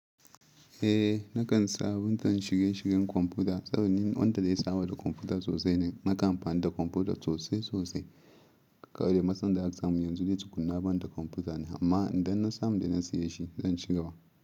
Eh nakan sa buntan shige shigen kwamfuta saboda ni wanda dai sawa da kwamfuta sosai ne. Nakan amfani da kwamfuta sosai sosai. Kawai dai matsan da aka samu yanzu dai tukunna bani da kwamfuta ne amma idan na samu da na siya shi zan cigaba.